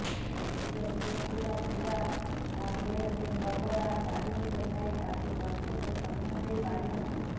ନିଜ ଝିଅ ପିଲା ଥିବା ବେଳେ ସେ ସର୍ବଦା କାର୍ଯ୍ୟବ୍ୟସ୍ତ ଥାଇ ତାକୁ ଯଥେଷ୍ଟ ସମୟ ଦେଇ ପାରିନଥିଲେ